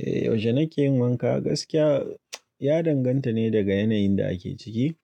Eh yaushe nake yin wanka gaskiya ya danganta ne daga yanayin da ake ciki.